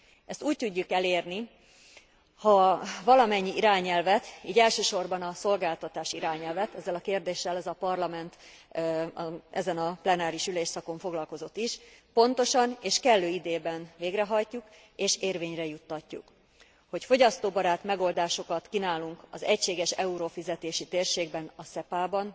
Ezt úgy tudjuk elérni, ha valamennyi irányelvet, így elsősorban a szolgáltatás irányelvet ezzel a kérdéssel ez a Parlament ezen a plenáris ülésszakon foglalkozott is pontosan és kellő időben végrehajtjuk és érvényre juttatjuk, hogy fogyasztóbarát megoldásokat kínálunk az egységes eurófizetési térségben, a SEPA ban,